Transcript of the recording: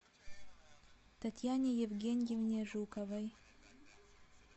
татьяне евгеньевне жуковой